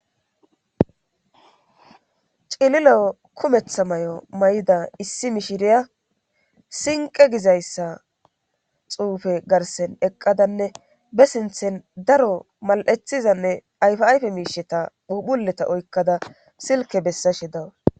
Cilileo kumetha may'o may'da issi mishiriya sinqe gizayssa xuufe garsen eqqadanne be sinthen daro mal'ethizanne ayfi ayfe miisheta puphuleta oykkada silke bessashe dawus.